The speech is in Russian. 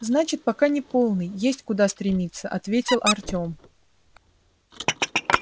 значит пока не полный есть куда стремиться ответил артём